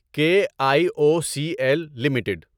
کے I O C L limited